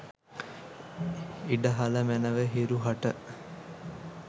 ඉඩ හළ මැනව හිරු හට